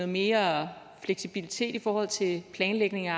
mere fleksibilitet i forhold til planlægning af